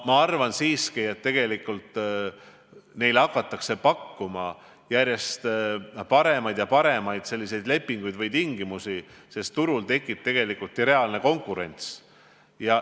Ma arvan siiski, et tegelikult neile hakatakse pakkuma järjest paremaid lepinguid, paremaid tingimusi, sest turul tekib reaalne konkurents.